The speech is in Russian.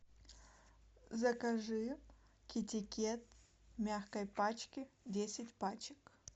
закажи китикет в мягкой пачке десять пачек